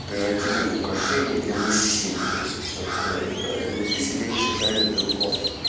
превратили в украшение для мужчин то есть такое да но ты себе не считаешь брелком